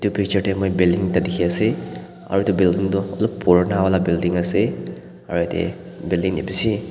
picture tae moi building ekta dikhiase aro edu building tu olop purana wala building ase aro edu building tae bishi.